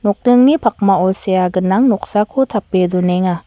nokningni pakmao sea gnang noksako tape donenga.